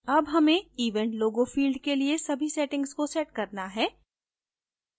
अब हमें event logo field के लिए सभी settings को set करना है